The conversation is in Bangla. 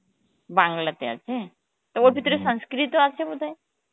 বাংলাতে আছে, তো ভিতরে sanskrit ও আছে বোধ হয়